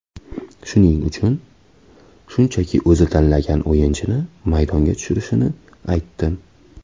Shuning uchun, shunchaki o‘zi tanlagan o‘yinchini maydonga tushirishini aytdim.